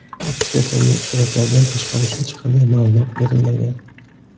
Ekspertlarga suratlardan tashqari hech qanday ma’lumot berilmagan.